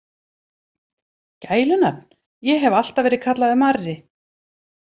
Gælunafn: Ég hef alltaf verið kallaður Marri.